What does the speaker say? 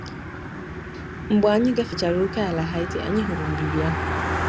Mgbe anyị gafechara ókèala Haiti, anyị hụrụ mbibi ahụ.